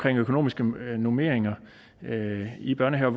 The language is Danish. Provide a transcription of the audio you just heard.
økonomiske normeringer i børnehaver